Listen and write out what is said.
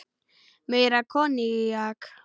Meira koníak?